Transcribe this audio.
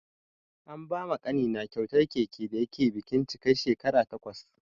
An ba ma ƙanina kyautar keke da yake bikin cika shekara takwas.